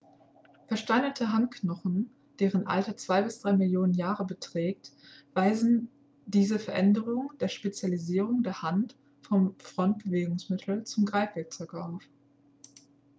versteinerte handknochen deren alter zwei bis drei millionen jahre beträgt weisen diese veränderung der spezialisierung der hand vom fortbewegungsmittel zum greifwerkzeug auf